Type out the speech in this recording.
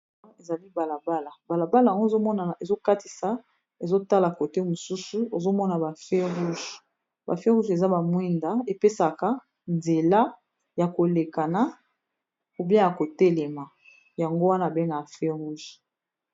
Ezali bala bala, bala bala yango ozo monana ezo katisa ezo tala cote mosusu ozo mona ba feu rouge. Ba feu rouge eza ba mwinda epesaka nzela ya ko lekana ou bien ya ko telema yango wana be bengaka feu rouge.